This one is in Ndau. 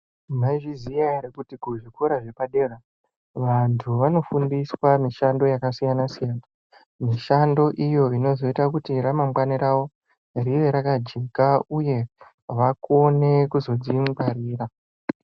Mwaizviziya ere kuti kuzvikora zvepadera vantu vanofundiswa mishando yakasiyana siyana. Mishando iyo inozoite kuti ramangwana rawo ringe rakajeka uye vakone kuzodzingwarira.